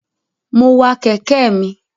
Mo wa kẹ̀kẹ́ mi.